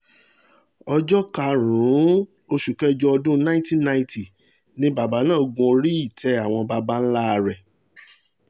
ọjọ́ karùn-ún oṣù kẹjọ ọdún nineteen ninety ni bàbá náà gun orí-ìtẹ́ àwọn baba ńlá rẹ̀